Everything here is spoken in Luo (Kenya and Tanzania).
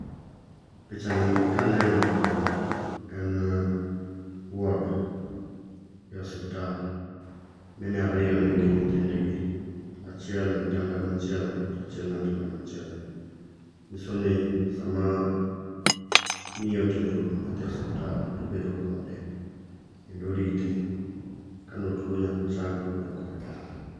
picha ni kaneno to en ward e osiptal. Mine ariyo nigi nyithindgi, achiel e otanda machielo tachiel e otanda machielo. Nyiso ni sama miyo otero nyathi e osiptal tobedo kode , kendo orite kanotuo nyako chang kokodok kode dala.